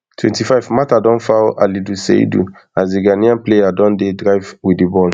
twenty-five mata don foul alidu seidu as di ghanaian player don dey drive wit di ball